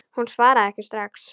Hún svaraði ekki strax.